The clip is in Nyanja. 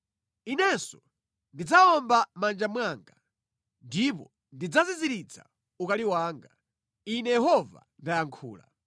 Inenso ndidzawomba mʼmanja mwanga, ndipo ndidzaziziritsa ukali wanga Ine Yehova ndayankhula.”